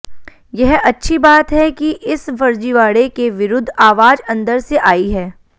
यह अच्छी बात है कि इस फर्जीवाड़े के विरुद्ध आवाज अंदर से आई है